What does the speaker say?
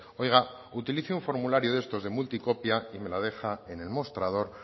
oiga utilice un formulario de estos de multicopia y me la deja en el mostrador